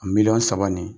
A miliyɔn saba nin